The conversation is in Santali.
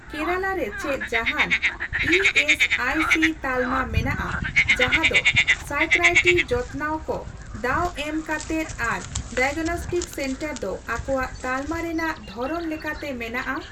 ᱠᱮᱨᱟᱞᱟ ᱨᱮ ᱪᱮᱫ ᱡᱟᱦᱟᱱ ᱤᱹᱮᱥᱹᱟᱭᱹᱥᱤ ᱛᱟᱞᱢᱟ ᱢᱮᱱᱟᱜᱼᱟ ᱡᱟᱦᱟᱸ ᱫᱚ ᱥᱭᱠᱟᱭᱟᱴᱨᱤ ᱡᱚᱛᱱᱟᱣ ᱠᱚ ᱫᱟᱣ ᱮᱢ ᱠᱟᱛᱮᱫ ᱟᱨ ᱰᱟᱭᱟᱜᱽᱱᱚᱥᱴᱤᱠ ᱥᱮᱱᱴᱟᱨ ᱫᱚ ᱟᱠᱚᱣᱟᱜ ᱛᱟᱞᱢᱟ ᱨᱮᱱᱟᱜ ᱫᱷᱚᱨᱚᱱ ᱞᱮᱠᱟᱛᱮ ᱢᱮᱱᱟᱜᱼᱟ ?